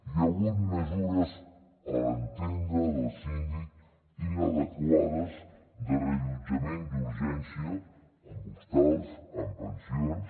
hi ha hagut mesures a l’entendre del síndic inadequades de reallotjament d’urgència en hostals en pensions